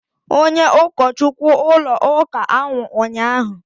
onye ụkọchukwu ụlọ ụka anwụ ụnyahụ